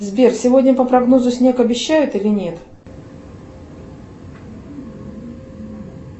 сбер сегодня по прогнозу снег обещают или нет